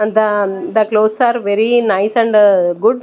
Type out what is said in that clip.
and the the clothes are very nice and good.